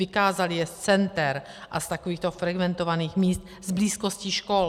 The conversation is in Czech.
Vykázaly je z center a z takovýchto frekventovaných míst, z blízkosti škol.